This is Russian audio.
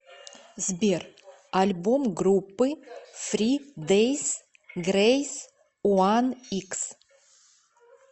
сбер альбом группы фри дейс грейс уан икс